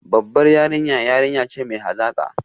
Babbar yarinya yarinya ce mai hazaka